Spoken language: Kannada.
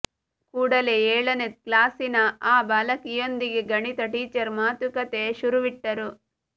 ಕೂಡಲೇ ಏಳನೇ ಕ್ಲಾಸಿನ ಆ ಬಾಲಕಿಯೊಂದಿಗೆ ಗಣಿತ ಟೀಚರ್ ಮತುಕತೆ ಶುರುವಿಟ್ಟರು